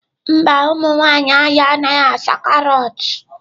Mba, ụmụ nwanyị ahịa anaghị asa carrots